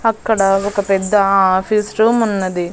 అక్కడ ఒక పెద్ద ఆఫీస్ రూమ్ ఉన్నది.